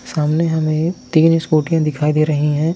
सामने हमें तीन स्कूटीयाँ दिखाई दे रही हैं।